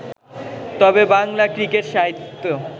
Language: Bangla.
তবে বাংলা ক্রিকেট-সাহিত্য